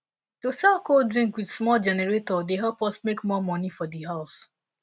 to sell cold drink with small generator dey help us make more moni for di house